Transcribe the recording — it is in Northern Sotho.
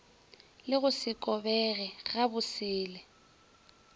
le go se kobege gabosele